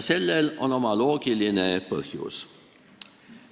Sellel on oma loogiline põhjus.